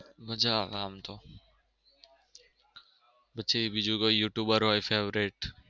મજા આવે આમ તો પછી બીજું કોઈ you tuber હોય favourite.